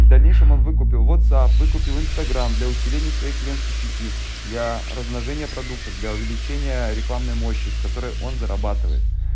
в дальнейшем он выкупил вотсап выкупил инстаграм для усиления своей клиентской сети для размножения продуктов для увеличения рекламной мощи с которой он зарабатывает